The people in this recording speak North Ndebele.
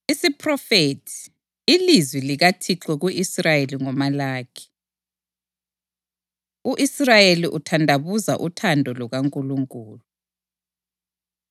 Isiphrofethi, Ilizwi likaThixo ku-Israyeli ngoMalaki. U-Israyeli Uthandabuza Uthando LukaNkulunkulu